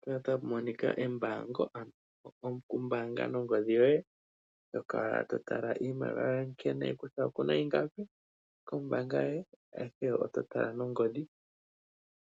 Mpaka otapu monika okumbaanga nongodhi yoye nokukala totala iimaliwa yoye kutya okuna iingapi kombaanga yoye ashike ototala nongodhi